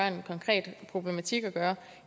en konkret problematik at gøre